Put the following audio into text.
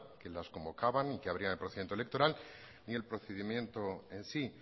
que las convocaban y que abrían el procedimiento electoral ni el procedimiento en sí